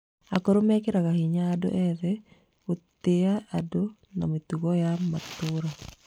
Akũrũ mekagĩra hinya andũ ethĩ gũtĩa ũndũire na mĩtugo ya matũũra.